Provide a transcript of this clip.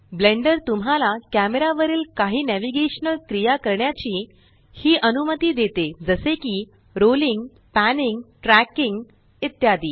blender तुम्हाला camera वरील काही नॅविगेशनल क्रिया करण्याची ही अनुमती देते जसे की रोलिंग पॅनिंग ट्रॅकिंग इत्यादी